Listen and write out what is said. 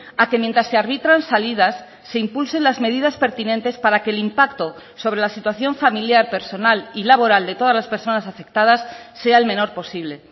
a que mientras se arbitran salidas se impulse las medidas pertinentes para que el impacto sobre la situación familiar personal y laboral de todas las personas afectadas sea el menor posible